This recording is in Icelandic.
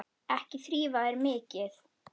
Ekki þrífa þær mikið.